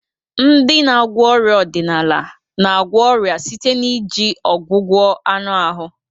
Ndị na-agwọ ọrịa ọdịnala na-agwọ ọrịa site na iji ọgwụgwọ anụ ahụ.